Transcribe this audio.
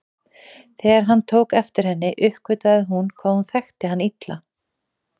Þegar hann tók eftir henni uppgötvaði hún hvað hún þekkti hann illa.